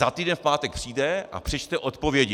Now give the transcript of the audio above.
Za týden v pátek přijde a přečte odpovědi.